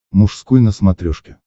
мужской на смотрешке